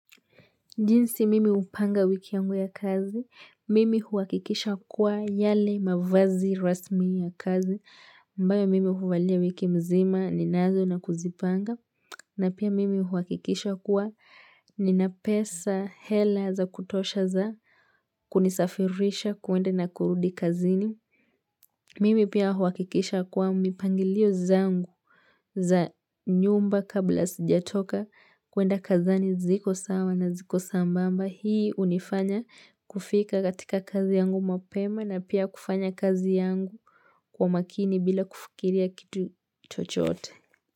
Jinsi mimi hupanga wiki yangu ya kazi, mimi huakikisha kuwa yale mavazi rasmi ya kazi ambayo mimi huvalia wiki mzima ninazo na kuzipanga na pia mimi huakikisha kuwa. Nina pesa hela za kutosha za kunisafirisha kuenda na kurudi kazini. Mimi pia huhakikisha kuwa mipangilio zangu za nyumba kabla sijatoka kwenda kazini ziko sawa na ziko sambamba. Hii hunifanya kufika katika kazi yangu mapema na pia kufanya kazi yangu kwa makini bila kufikiria kitu chochote.